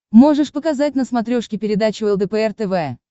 можешь показать на смотрешке передачу лдпр тв